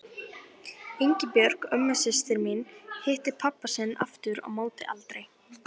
Ingibjörg, ömmusystir mín, hitti pabba sinn aftur á móti aldrei.